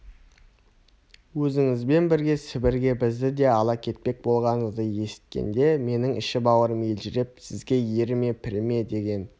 өзіңізбен бірге сібірге бізді де ала кетпек болғаныңызды есіткенде менің іші-бауырым елжіреп сізге еріме піріме деген